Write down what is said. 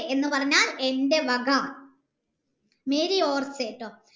എന്ന് പറഞ്ഞാൽ എൻ്റെ വക ട്ടോ